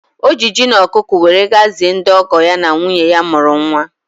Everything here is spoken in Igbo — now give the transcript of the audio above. Ọ ji ji na ọkụkọ were ga-zie ndị ọgọ ya na nwunye ya mụrụ nwa.